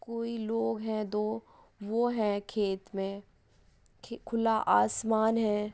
कोई लोग है दो वो है खेत मे| खुला आसमान है।